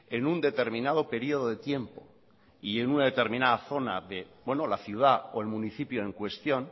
en un determinado periodo de tiempo y en una determinada zona de la ciudad o el municipio en cuestión